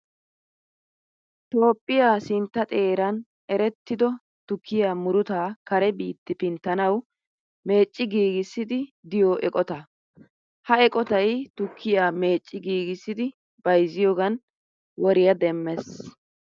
Toophphiyaa sintta xeeran erettido tukkiyaa murutaa kare biitti pinttanawu meecci giigissiiddi diyoo eqotaa. Ha eqotayi tukkiyaa meecci giigissidi bayizziyoogan woriyaa demmes.